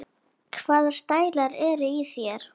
Hvaða stælar eru í þér?